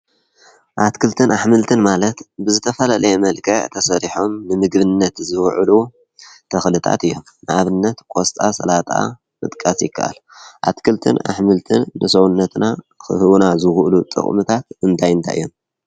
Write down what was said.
ኣትክልትን ኣሕምልትን ማለት ብዝተፈላለየ መልክዕ ተሰሪሖም ንምግብነት ዝውዕሉ ተኽልታት እዮም፡፡ ንኣብነት ቆስጣ፣ ሠላጣ ምጥቃስ ይከኣል፡፡ ኣትክልትን ኣሕምልትን ንሰውነትና ኽህቡና ዝኽእሉ ጥቕምታት እንታይ አንታይ እዮም?